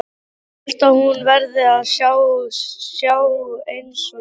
Held að hún verði að sjá einsog ég.